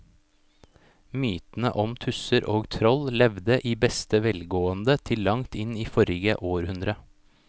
Mytene om tusser og troll levde i beste velgående til langt inn i forrige århundre.